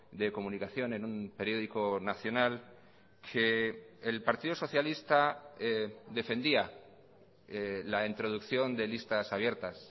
de comunicación en un periódico nacional que el partido socialista defendía la introducción de listas abiertas